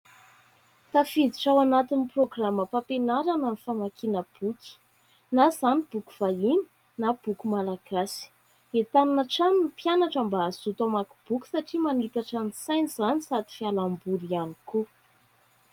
Tafiditra ao anatin'ny programam-pampianarana ny famakiana boky, na izany boky vahiny, na boky malagasy. Entanina hatrany ny mpianatra mba hazoto hamaky boky, satria manitatra ny sainy izany, sady fialamboly ihany koa.